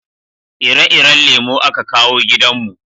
ire-iren lemo a ka kawo gidan mu